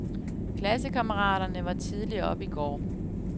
Klassekammeraterne var tidligt oppe i går.